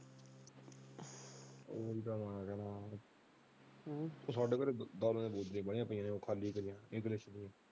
ਉਹ ਹੀ ਤਾਂ ਚੜੇ ਕੋਲੇ ਬਣੀ ਪਾਈ ਹ ਖਾਲੀ ਜੱਗ।